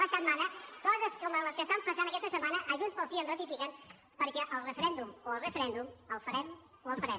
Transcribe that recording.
la setmana coses com les que estan passant aquesta setmana a junts pel sí ens ratifiquen perquè el referèndum o el referèndum el farem o el farem